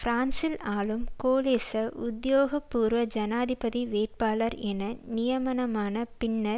பிரான்சில் ஆளும் கோலிச உத்தியோக பூர்வ ஜனாதிபதி வேட்பாளர் என நியமனமான பின்னர்